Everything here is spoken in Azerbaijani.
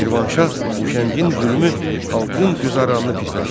Şirvanşah Huşəngin zülmü xalqın güzəranını pisləşdirdi.